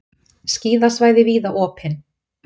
Skíðasvæði víða opin